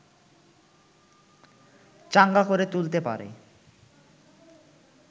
চাঙ্গা করে তুলতে পারে